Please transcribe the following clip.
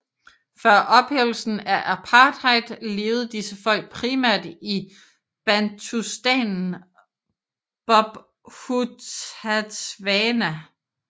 Før ophævelsen af apartheid levede disse folk primært i bantustanen Bophuthatswana